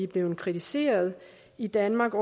blevet kritiseret i danmark